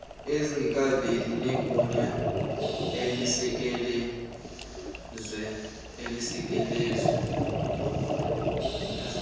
ezingekaveli nelinegunya elisekelezwe